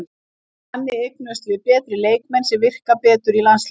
Þannig eignumst við betri leikmenn sem virka betur í landsliðinu.